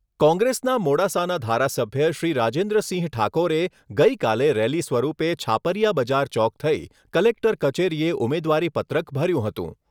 કોંગ્રેસના મોડાસાના ધારાસભ્ય શ્રી રાજેન્દ્રસિંહ ઠાકોરે ગઈકાલે રેલી સ્વરૂપે છાપરીયા બજાર ચોક થઈ કલેક્ટર કચેરીએ ઉમેદવારીપત્રક ભર્યું હતું.